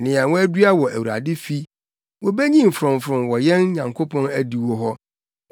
nea wɔadua wɔ Awurade fi, wobenyin frɔmfrɔm wɔ yɛn Nyankopɔn adiwo hɔ.